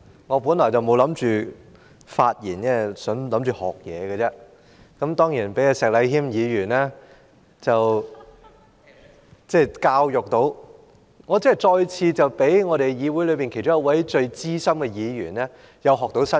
我本來不打算發言，只是想學習，當然，聽到石禮謙議員的發言，我真是再次從議會其中一位很資深的議員學到新知識。